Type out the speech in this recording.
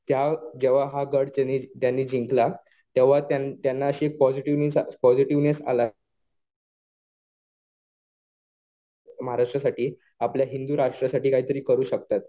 त्या जेव्हा त्यांनी हा गड जिंकला तेव्हा त्यांना अशी पॉजिटिव्ह मीन्स पॉजिटिव्हनेस आला. महाराष्ट्रासाठी आपल्या हिंदू राष्ट्रासाठी काही तरी करू शकतात.